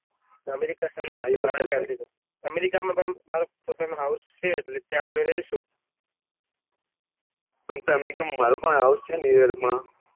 America માં પણ મારું પોતાનું house છે એટલે તર્યા આપડે રહીશું આમ તો અમેરિકા માં મારું પણ house છે newyork માં